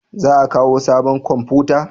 Za a kawo sabon komfuta?